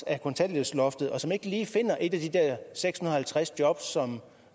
af kontanthjælpsloftet og som ikke lige finder et af de der seks hundrede og halvtreds jobs som